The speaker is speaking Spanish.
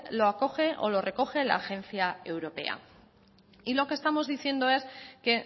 lo acoge o lo recoge la agencia europea y lo que estamos diciendo es que